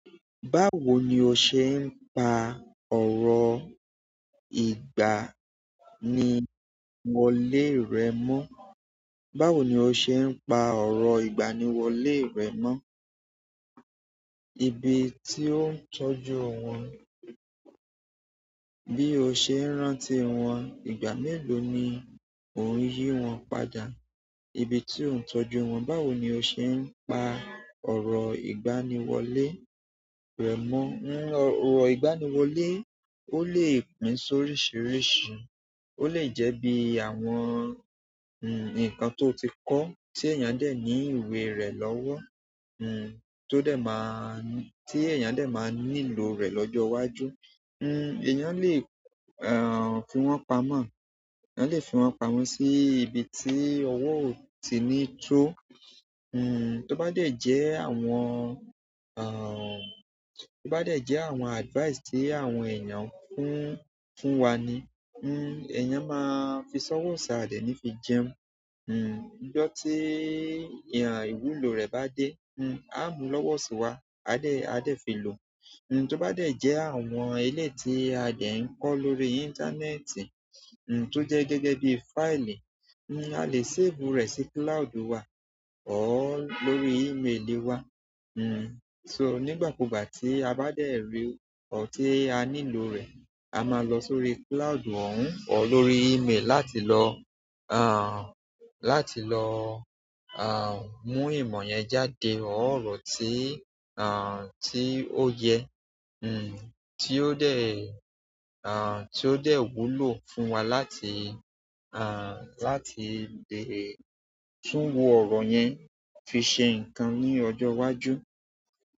Báwo ni o ṣe ń pa ọ̀rọ̀ ìgbaniwọlé rẹ mọ́? Báwo ni o ṣe ń pa ọ̀rọ̀ ìgbaniwọlé rẹ mọ́? Ibi tí ó ń tọ́jú wọn, bí o ṣe ń rántí wọn, ìgbà mélòó ni ò ń yí wọn padà, ibi tí ó ń tọ́jú wọn. Báwo ni o ṣe ń pa ọ̀rọ̀ ìgbaniwọlé rẹ mọ́? Ọ̀rọ̀ ìgbaniwọlé ó lè pín sóríṣiríṣi. Ó lè jẹ́ bí àwọn, hm, nǹkan tó ti kọ́ tí èèyàn dẹ̀ ní ìwé rẹ̀ lọ́wọ́, hm, tó dẹ̀ máa-- tí èèyàn dẹ̀ máa nílò rẹ̀ lọ́jọ́ iwájú. Hmm, èèyàn le, ah, fi wọ́n pamọ́. Ẹ̀yàn lè fi wọ́n pamọ́ sí ibi tí owó ò tí ì ní tó. Hmm, tó bá dẹ̀ jẹ́ àwọn, ah, tó bá dẹ̀ jẹ́ àwọn advice tí àwọn èèyàn fún, fún wa ni, hmm, èèyàn máa fi sọ́wọ́ osi ade ní fi jẹun. Hmm, ijo tí ìyàn ìwúlò rẹ̀ bá dé, hmm, a mú lọ́wọ́ sí wa, a dẹ̀, a dẹ̀ fi lò. Hmm, tó bá dẹ̀ jẹ́ àwọn eléti a dẹ̀ ń kọ́ lórí íńtánẹ́ẹ̀tì, hm, tó jẹ́ gẹ́gẹ́ bí fáìlì, hmm, a le save rẹ̀ sí cloud wa ọ lórí email wa. Hmm, so nígbà kúgbà tí a bá dẹ̀ rí ọ̀ tí a nílò rẹ̀, a máa lọ sórí cloud òun ọ lórí email láti lọ, ah, láti lọ, ah, mú ìmọ̀ yẹn jáde ọ ọ̀rọ̀ tí, ah, tí ó yẹ, hm, tí ó dẹ̀, ah, tí ó dẹ̀ wúlò fún wa láti, ah, láti lè tún wo ọ̀rọ̀ yẹn fi ṣe ǹkan ní ọjọ́ iwájú.